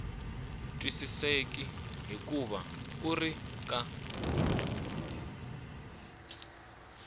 twisiseki hikuva wu ri ka